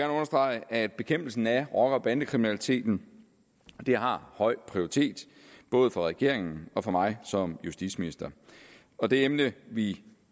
understrege at bekæmpelsen af rocker og bandekriminaliteten har høj prioritet både for regeringen og for mig som justitsminister og det emne vi